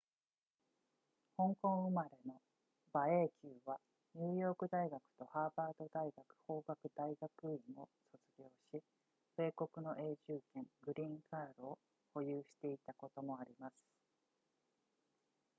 香港生まれの馬英九はニューヨーク大学とハーバード大学法学大学院を卒業し米国の永住権グリーンカードを保有していたこともあります